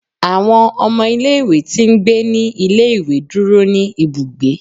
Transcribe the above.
Awọn ọmọ ìlé-ìwé ti ń gbe ni ìlé-ìwé dúró ni Ibúgbe.